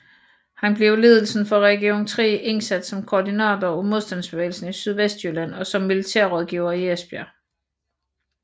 Han blev af ledelsen for Region III indsat som koordinator af modstandsbevægelsen i Sydvestjylland og som militær rådgiver i Esbjerg